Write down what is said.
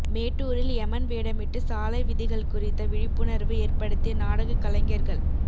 மேட்டூரில் எமன் வேடமிட்டு சாலை விதிகள் குறித்த விழிப்புணா்வு ஏற்படுத்திய நாடக கலைஞா்கள்